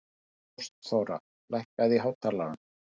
Ástþóra, lækkaðu í hátalaranum.